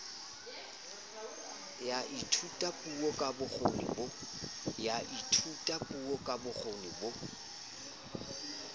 ya thutapuo ka bokgoni bo